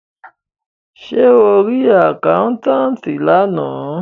Ṣé o rí àkáńtátì lánàá.